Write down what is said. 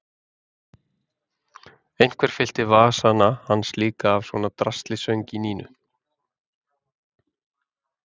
Einhver fyllti vasana hans líka af svona drasli söng í Nínu.